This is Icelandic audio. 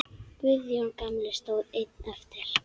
Guðjón gamli stóð einn eftir.